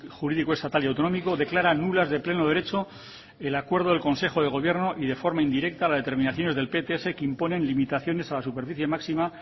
jurídico estatal y autonómico declara nulas de pleno derecho el acuerdo del consejo de gobierno y de forma indirecta las determinaciones del pts que imponen limitaciones a la superficie máxima